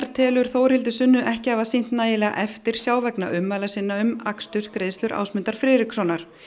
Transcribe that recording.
telur Þórhildi Sunnu ekki hafa sýnt nægilega eftirsjá vegna ummæla sinna um akstursgreiðslur Ásmundar Friðrikssonar